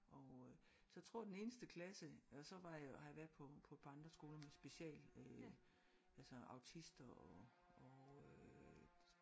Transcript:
Og øh så jeg tror den eneste klasse og så var jeg har jeg også været på på et par andre skoler med special øh altså autister og og øh